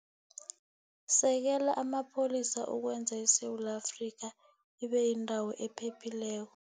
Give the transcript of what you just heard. Sekela Amapholisa Ukwenza ISewula Afrika Ibe Yindawo Ephephileko